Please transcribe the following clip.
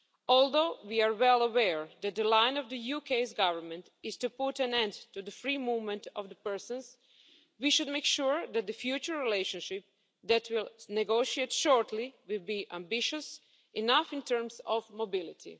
Although we are well aware that the line of the UK Government is to put an end to the free movement of persons, we should make sure that the future relationship that will be negotiated shortly will be ambitious enough in terms of mobility.